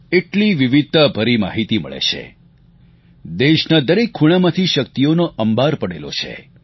એટલી વિવિધતાભરી માહિતી મળે છે દેશના દરેક ખૂણામાં શક્તિઓનો અંબાર પડેલો છે